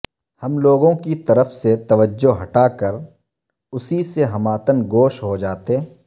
ہم لوگوں کی طرف سے توجہ ہٹاکر اسی سے ہمہ تن گوش ہوجاتے